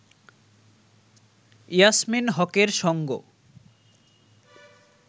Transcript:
ইয়াসমীন হকের সঙ্গ